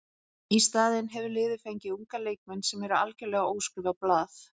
Í staðinn hefur liðið fengið unga leikmenn sem eru algjörlega óskrifað blað.